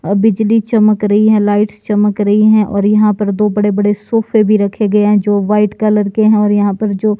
और बिजली चमक रही हैं लाइट्स चमक रही है और यहां पर दो बड़े बड़े सोफे भी रखे गए है जो व्हाईट कलर के हैं और यहां पर जो--